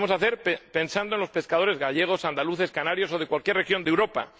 Lo debemos hacer pensando en los pescadores gallegos, andaluces, canarios o de cualquier región de Europa.